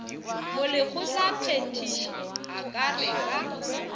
molekgotlaphethiši a ka re ka